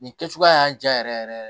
Nin kɛcogo y'an janya yɛrɛ yɛrɛ yɛrɛ